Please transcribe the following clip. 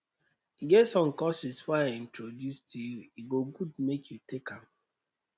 e get some courses wey i introduce to you e go good make you take am